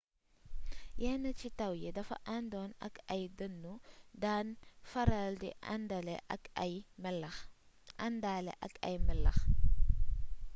yenn ci taw yi dafa àndoon ak ay dëndu daan faral di àndaale ak ay melax